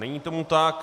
Není tomu tak.